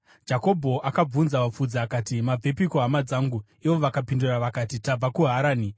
Jakobho akabvunza vafudzi akati, “Mabvepiko, hama dzangu?” Ivo vakapindura vakati, “Tabva kuHarani.”